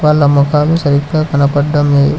వాళ్ళ మొఖాలు సరిగ్గా కనపడ్డం లేదు.